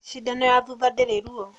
Cindano ya thutha ndĩrĩ ruo.